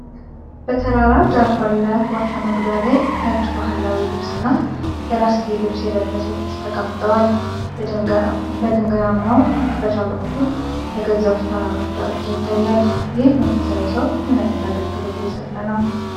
በተራራ ዳር ባለ ዋሻ መግቢያ ላይ፣ ነጭ ባህላዊ ልብስና የራስጌ ልብስ የለበሰ ቄስ ተቀምጠዋል። በድንጋያማው መክፈቻ በኩል የገዘፉ ተራሮች ዳርቻ ይታያል። ይህ መንፈሳዊ ሰው ምን ዓይነት አገልግሎት እየሰጠ ነው?